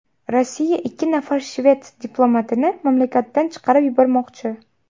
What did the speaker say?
Rossiya ikki nafar shved diplomatini mamlakatdan chiqarib yubormoqchi.